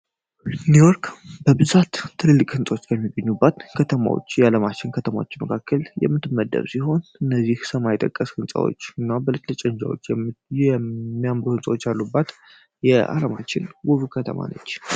ኒውዮርክ በብዛት ትልልቅ ሕንፆች ከሚገኙባት ከተማዎች የዓለማችን ከተማች መካከል የምትመደብ ሲሆን እነዚህ ሰማይ የጠቀስ ሕንፃዎች እና በልጭልጭ ህንጻዎች የሚያምር ሕንፃዎች አሉባት የአለማችን ውቭ ከተማ ነች።